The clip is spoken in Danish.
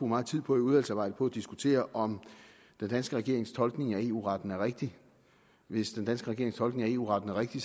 meget tid på i udvalgsarbejdet diskutere om den danske regerings tolkning af eu retten er rigtig hvis den danske regerings tolkning af eu retten er rigtig